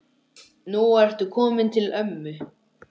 Nú ertu kominn til ömmu.